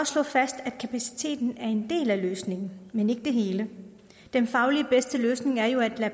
slå fast at kapaciteten er en del af løsningen men ikke det hele den fagligt bedste løsning er jo ikke at